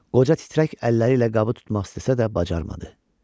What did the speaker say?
Qoca titrək əlləri ilə qabı tutmaq istəsə də bacarmadı.